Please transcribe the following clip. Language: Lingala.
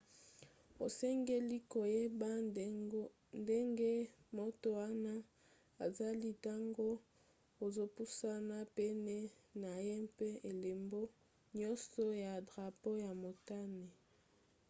osengeli koyeba ndenge moto wana azali ntango ozopusana pene na ye mpe elembo nyonso ya drapo ya motane